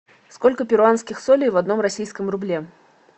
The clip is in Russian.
сколько перуанских солей в одном российском рубле